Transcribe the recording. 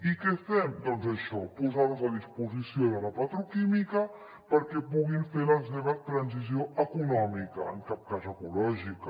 i què fem doncs això posar nos a disposició de la petroquímica perquè puguin fer la seva transició econòmica en cap cas ecològica